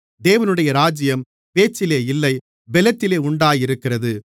தேவனுடைய ராஜ்யம் பேச்சிலே இல்லை பெலத்திலே உண்டாயிருக்கிறது